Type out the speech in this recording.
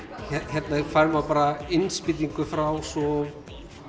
hérna fær maður bara innspýtingu frá svo